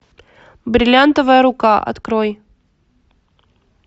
бриллиантовая рука открой